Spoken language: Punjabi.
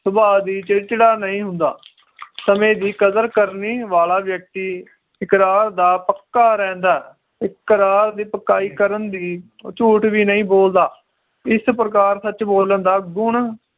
ਸੁਭਾਅ ਵੀ ਚਿੜਚਿੜਾ ਨਹੀਂ ਹੁੰਦਾ ਸਮੇ ਦੀ ਕਦਰ ਕਰਨੀ ਵਾਲਾ ਵ੍ਯਕ੍ਤਿ ਇਕਰਾਰ ਦਾ ਪੱਕਾ ਰਹਿੰਦਾ ਏ ਇਕਰਾਰ ਦੀ ਪਕਾਈ ਕਰਨ ਲਈ ਉਹ ਝੂਠ ਵੀ ਨਹੀਂ ਬੋਲਦਾ ਇਸ ਪ੍ਰਕਾਰ ਸੱਚ ਬੋਲਣ ਦਾ ਗੁਣ